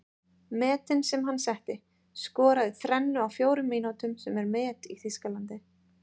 Metin sem hann setti:- Skoraði þrennu á fjórum mínútum sem er met í Þýskalandi.